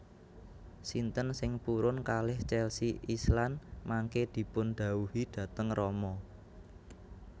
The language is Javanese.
Sinten sing purun kalih Chelsea Islan mangke dipun dhawuhi dhateng rama